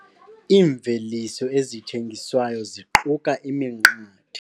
Iimveliso ezithengiswayo ziquka iminqathe.